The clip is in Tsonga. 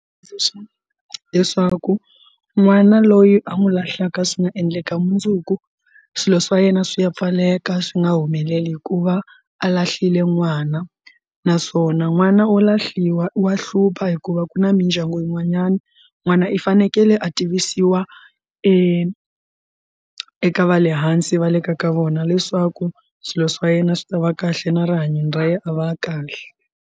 Leswaku n'wana loyi a n'wi lahlaka swi nga endleka mundzuku swilo swa yena swi ya pfaleka swi nga humeleli hikuva a lahlile n'wana naswona n'wana wo lahliwa u wa hlupha hikuva ku na mindyangu yin'wanyani n'wana i fanekele a tivisiwa eka eka va le hansi va le ka ka vona leswaku swilo swa yena swi ta va kahle na rihanyo ra yena a va kahle.